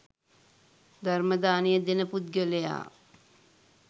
ධර්ම දානය දෙන පුද්ගලයා